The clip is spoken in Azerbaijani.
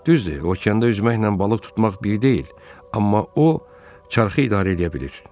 Düzdür, okeanda üzməklə balıq tutmaq bir deyil, amma o çarxı idarə eləyə bilir.